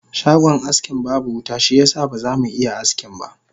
Shagon askin babu wuta shiyasa ba zamu iya askinba